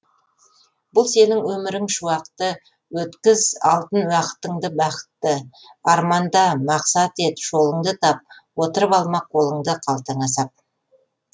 бұл сенің өмірің шуақты өткіз алтын уақытыңды бақытты арманда мақсат ет жолыңды тап отырып алма қолыңды қалтаңа сап